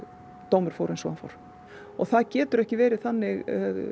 dómur fór eins og hann fór það getur ekki verið þannig